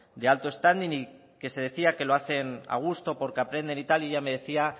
de alto standing y que se decía que lo hacen a gusto porque aprenden y tal y ella me decía